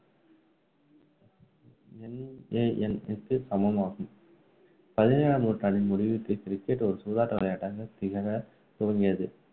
NAN க்கு சமமாகும் பதினேழாம் நூற்றாண்டின் முடிவில் cricket ஒரு சூதாட்ட விளையாட்டாக திகழத் துவங்கியது